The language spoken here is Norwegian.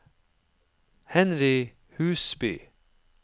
Henry Husby